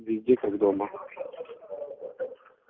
везде как дома